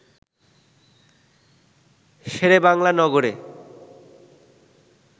শেরেবাংলা নগরে